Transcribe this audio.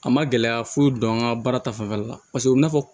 A ma gɛlɛya foyi don an ka baara ta fanfɛla la u bina